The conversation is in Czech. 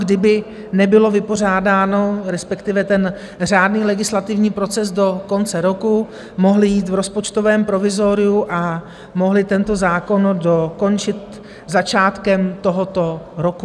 Kdyby nebylo vypořádáno, respektive ten řádný legislativní proces do konce roku, mohli jít v rozpočtovém provizoriu a mohli tento zákon dokončit začátkem tohoto roku...